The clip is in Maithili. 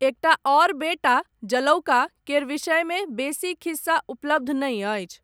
एकटा आओर बेटा, जालौका केर विषयमे बेसी खिस्सा उपलब्ध नहि अछि।